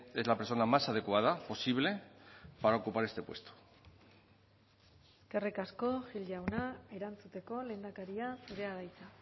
es la persona más adecuada posible para ocupar este puesto eskerrik asko gil jauna erantzuteko lehendakaria zurea da hitza